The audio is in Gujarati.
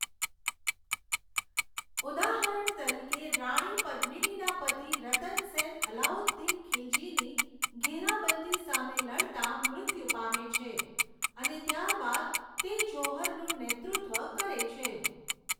ઉદાહરણ તરીકે, રાણી પદ્મિનીના પતિ રતન સેન અલાઉદ્દીન ખિલજીની ઘેરાબંધી સામે લડતા મૃત્યુ પામે છે અને ત્યારબાદ તે જૌહરનું નેતૃત્વ કરે છે.